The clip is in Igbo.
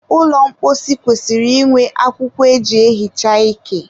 ụlọ mposi kwesịrị inwe akwụkwọ e ji ehicha ike.